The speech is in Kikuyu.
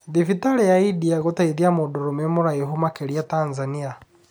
Thibirari ya India gũteithia mũndũrũme mũraihu makĩria Tanzania.